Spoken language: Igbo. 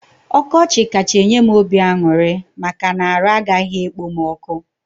Ọkọchị kacha enye m obi aṅụrị maka na arụ agaghị ekpom ọkụ